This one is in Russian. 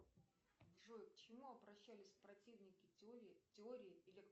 джой к чему обращались противники теории